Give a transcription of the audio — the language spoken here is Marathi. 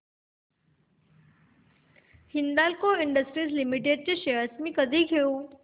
हिंदाल्को इंडस्ट्रीज लिमिटेड शेअर्स मी कधी घेऊ